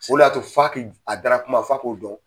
O le y'a to f'a k'i a dara kuma fa ko dɔn.